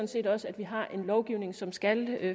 set også at vi har en lovgivning som skal